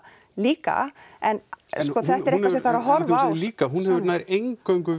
líka en þetta er eitthvað sem þarf að horfa á líka nær eingöngu